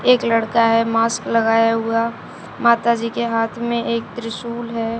एक लड़का है मास्क लगाए हुआ माता जी के हाथ में एक त्रिशूल है।